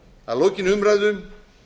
að lokinni umræðu